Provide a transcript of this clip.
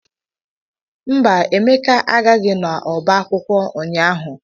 Mba, Emeka agaghị n'ọba akwụkwọ ụnyaahụ.